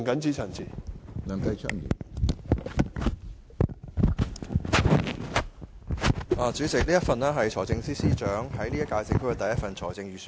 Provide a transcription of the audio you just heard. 主席，這是財政司司長在本屆政府發表的第一份財政預算案。